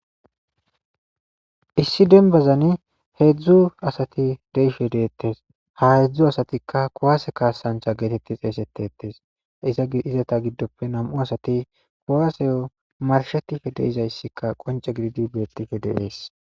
Issi denbazani heedzdzu asati deishe deettes ha heedzdzu asatikka kowase kaasancha geetetti eesetetes iza izata giddoppe nam7u asati kuwaaseyo marshetife deizayssikka qonce gididi beettife deees.